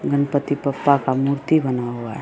गणपति पप्पा का मूर्ति बना हुआ है।